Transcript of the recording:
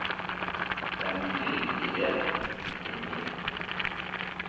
Det er mye riktig i det. punktum